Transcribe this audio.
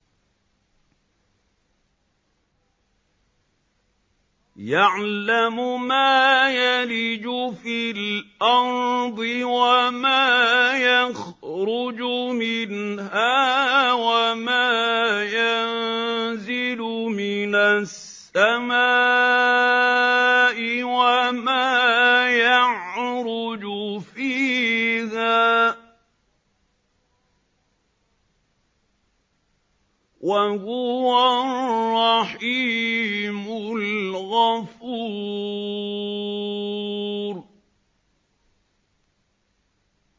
يَعْلَمُ مَا يَلِجُ فِي الْأَرْضِ وَمَا يَخْرُجُ مِنْهَا وَمَا يَنزِلُ مِنَ السَّمَاءِ وَمَا يَعْرُجُ فِيهَا ۚ وَهُوَ الرَّحِيمُ الْغَفُورُ